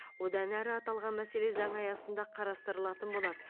одан әрі аталған мәселе заң аясында қарастырылатын болады